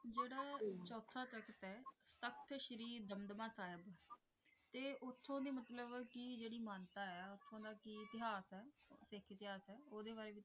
ਸ੍ਰੀ ਦਮਦਮਾ ਸਾਹਿਬ ਤੇ ਉਥੋਂ ਦੀ ਕੀ ਮਹਾਨਤਾ ਹੈ ਤਯ ਕਿ ਇਤਿਹਾਸਕ ਹੈ ਉਹਦੇ ਬਾਰੇ ਕੁਝ